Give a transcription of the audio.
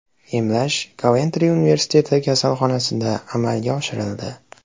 Emlash Koventri universiteti kasalxonasida amalga oshirildi.